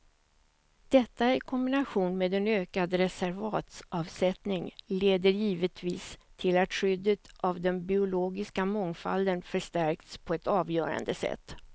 Detta i kombination med en ökad reservatsavsättning leder givetvis till att skyddet av den biologiska mångfalden förstärks på ett avgörande sätt.